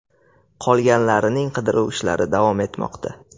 Qolganlarining qidiruv ishlari davom etmoqda.